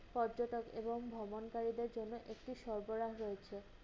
পর্যটক এবং ভ্রমণকারীদের জন্য একটি সরবরাহ রয়েছে।